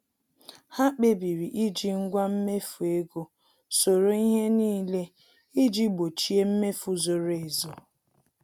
Ha kpebiri iji ngwa mmefu ego soro ihe n'ile iji gbochie mmefu zoro ezo